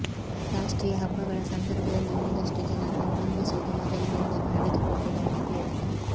ರಾಷ್ಟ್ರೀಯ ಹಬ್ಬಗಳ ಸಂದರ್ಭದಲ್ಲಿ ಒಂದಷ್ಟು ಜನರನ್ನು ಬಂಧಿಸುವುದು ಮೊದಲಿನಿಂದಲೂ ನಡೆದುಕೊಂಡು ಬಂದಿದೆ